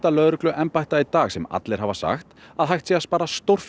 lögregluembætta í dag sem hafa sagt að hægt sé að spara stórar